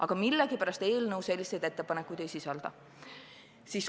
Aga millegipärast eelnõu selliseid ettepanekuid ei sisalda.